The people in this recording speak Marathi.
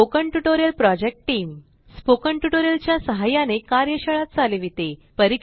spoken tutorial project team spoken tutorials च्या सहाय्याने कार्यशाळा चालविते